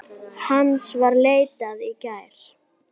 Hans var leitað í gær.